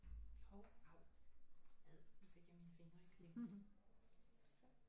Hov av ad nu fik jeg mine fingre i klemme så